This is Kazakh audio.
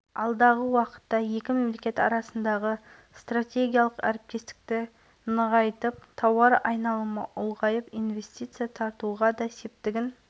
бүгінде венгрлер қазақстанға виза рәсімдемей-ақ келуіне мүмкіндік бар бұл өз кезегінде кәсіпкерлік саласын дамытуға іскерлік қарым-қатынасты нығайтуға зор мүмкіндік береді деді